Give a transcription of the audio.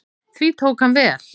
Því tók hann vel.